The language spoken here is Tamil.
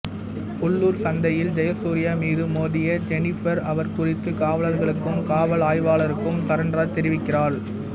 உள்ளூர் சந்தையில் ஜெயசூர்யா மீது மோதிய ஜெனிபர் அவர் குறித்து காவலர்களுக்கும் காவல் ஆய்வாளருக்கும் சரண்ராஜ் தெரிவிக்கிறாள்